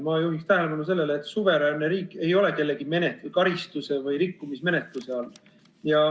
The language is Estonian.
Ma juhin tähelepanu sellele, et suveräänne riik ei ole kellegi karistus- või rikkumismenetluse all.